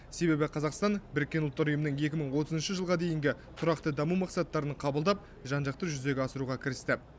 себебі қазақстан біріккен ұлттар ұйымының екі мың отызыншы жылға дейінгі тұрақты даму мақсаттарын қабылдап жан жақты жүзеге асыруға кірісті